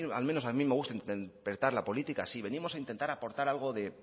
al menos a mí me gusta interpretar la política así venimos a intentar aportar algo de